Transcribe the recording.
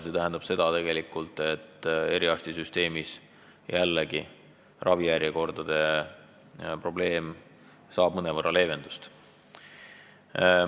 See tähendab seda, et eriarstisüsteemis saab ravijärjekordade probleem jällegi mõnevõrra leevendust.